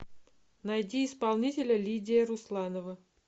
найди исполнителя лидия русланова